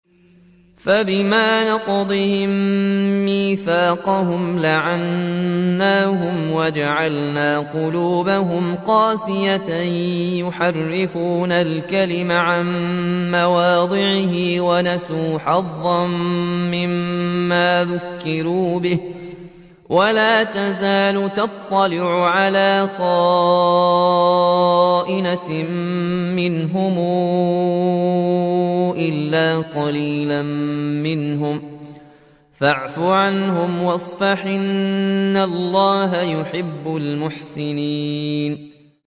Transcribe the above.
فَبِمَا نَقْضِهِم مِّيثَاقَهُمْ لَعَنَّاهُمْ وَجَعَلْنَا قُلُوبَهُمْ قَاسِيَةً ۖ يُحَرِّفُونَ الْكَلِمَ عَن مَّوَاضِعِهِ ۙ وَنَسُوا حَظًّا مِّمَّا ذُكِّرُوا بِهِ ۚ وَلَا تَزَالُ تَطَّلِعُ عَلَىٰ خَائِنَةٍ مِّنْهُمْ إِلَّا قَلِيلًا مِّنْهُمْ ۖ فَاعْفُ عَنْهُمْ وَاصْفَحْ ۚ إِنَّ اللَّهَ يُحِبُّ الْمُحْسِنِينَ